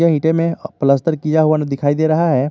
ईटे में पलस्तर किया हुआ दिखाई दे रहा है।